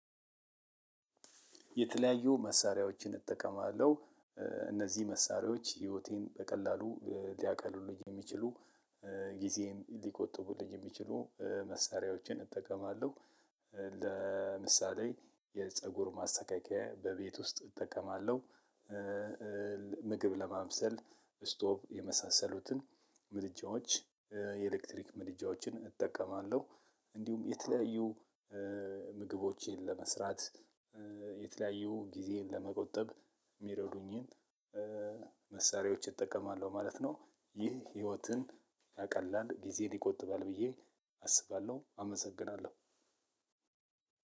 የተለያዩ መሳሪያዎችን እጠቀማለሁ። እነዚህ መሳሪያዎች ህይወቴን በቀላሉ ሊያቀሉልኝ የሚችሉ ጊዜዬን ሊቆጥቡልኝ የሚችሉ መሳሪያዎችን እጠቀማለሁ። ለምሳሌ የፀጉር ማስተካከያ በቤት ውስጥ እጠቀማለሁ። ምግብ ለማብሰል ስቶቭ የመሳሰሉትን ምድጃዎች የኤሌክትሪክ ምድጃዎችን እጠቀማለሁ። እንዲሁም የተለያዩ ምግቦችን ለመስራት የተለያዩ ጊዜ ለመቆጠብ ሚረዱኝን መሳሪያዎች እጠቀማለሁ ማለት ነው። ይህ ህይወትን ያቀላል ጊዜን ይቆጥባል ብዬ አስባለሁ። አመሰግናለሁ።